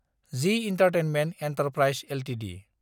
G entertainment enterprises Ltd